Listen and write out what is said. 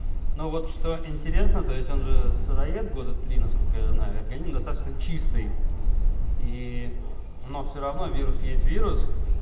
ну вот что интересно то есть он же сыроед года три насколько я знаю организм достаточно чистый и но все равно вирус есть вирус